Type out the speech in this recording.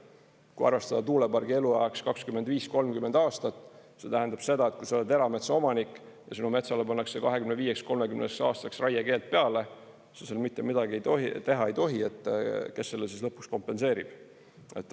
Kui arvestada tuulepargi eluajaks 25–30 aastat, see tähendab seda, et kui sa oled erametsaomanik ja sinu metsale pannakse 25–30 aastaks raiekeeld peale, sa seal mitte midagi teha ei tohi, kes selle lõpuks kompenseerib?